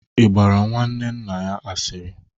Ị gbaara nwanne nna ya asịrị?